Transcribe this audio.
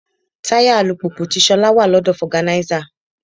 Táyà alùpùpù ti Ṣolá wà lọ́dọ̀ foganisa.